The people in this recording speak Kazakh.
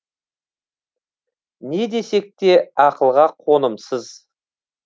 не десек те ақылға қонымсыз